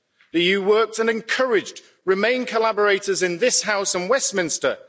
The EU worked and encouraged Remain collaborators in this House and Westminster.